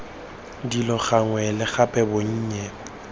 dilo gangwe le gape bonnye